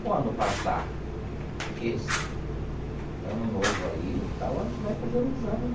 Quando passar esse ano novo aí, tal, a gente vai fazer o exame, né?